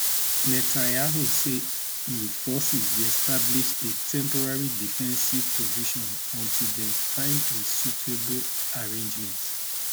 netanyahu say im forces dey establish a temporary defensive position until dem find a suitable arrangement